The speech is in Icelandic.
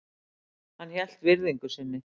Hann hélt virðingu sinni.